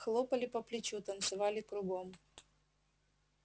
хлопали по плечу танцевали кругом